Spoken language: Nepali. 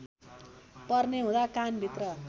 पर्ने हुँदा कानभित्र